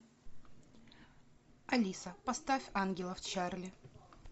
алиса поставь ангелов чарли